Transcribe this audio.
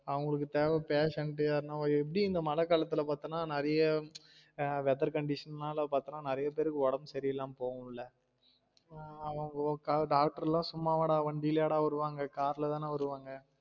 அவங்களுக்கு தேவ patient யார்னா எப்டி இந்த மழை காலத்துல பாதத்தனா நிறைய weather condition நாலா பாத்தனா நிறைய பேருக்கு ஒடம்பு சரி இல்லாம போகும் ல doctor லாம் சும்மாவாடா வண்டியிலயா டா வருவாங்க car ல தான வருவாங்க